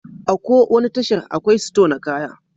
A ko wani tashar, akwai sito na kaya